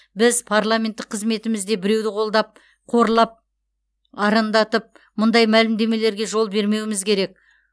біз парламенттік қызметімізде біреуді қолдап қорлап арандатып мұндай мәлімдемелерге жол бермеуіміз керек